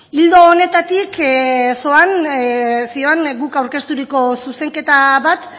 ildo honetatik zihoan guk aurkezturiko zuzenketa bat